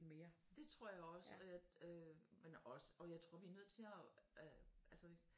Det tror jeg også at øh men også og jeg tror vi er nødt til og øh altså